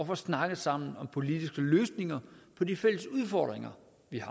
får snakket sammen om politiske løsninger på de fælles udfordringer